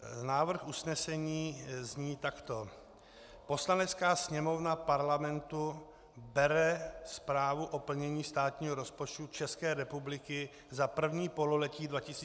Návrh usnesení zní takto: Poslanecká sněmovna Parlamentu bere zprávu o plnění státního rozpočtu České republiky za první pololetí 2014 na vědomí.